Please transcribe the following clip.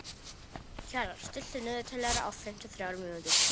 Kjalar, stilltu niðurteljara á fimmtíu og þrjár mínútur.